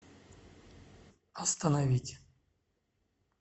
остановить